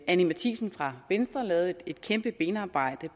anni matthiesen fra venstre lavede et kæmpe benarbejde